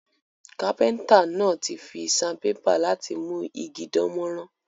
Kápẹ́ńtà náà ti fi sandpaper láti mú igi dánmórán